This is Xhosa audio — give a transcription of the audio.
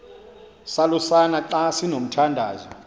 salusana xa sinomthandazo